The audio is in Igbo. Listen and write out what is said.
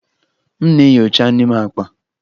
M na-enyocha n'ime akpa.